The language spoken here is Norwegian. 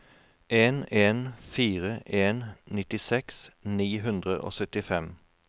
en en fire en nittiseks ni hundre og syttifem